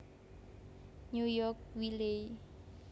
New York Wiley